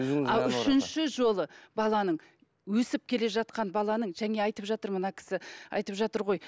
ал үшінші жолы баланың өсіп келе жатқан баланың айтып жатыр мына кісі айтып жатыр ғой